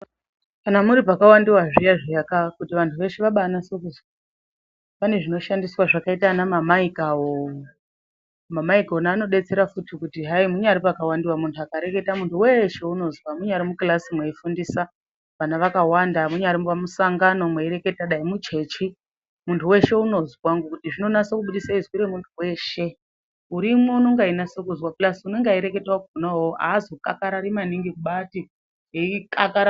Kana muri pakawandiwa zviya zviyaka kuti vantu veshe vabanase kuzwa, pane zvinoshandiswa zvakaita ana mamaika awo. Mamaiki ona anodetsera futi kuti hayi munyari pakawandiwa muntu akareketa, muntu weshe unozwa. Munyari mukirasi mweifundisa vana vakawanda, munyari pamusangano mweyi reketa, dai muchechi muntu weshe unozwa ngekuti zvinonase kubudise zwi remuntu weshe. Urimwo unonga eyi nase kuzwa uye unenge eyi reketa akhona uwowo azokakarari maningi kubati eyi kakarara.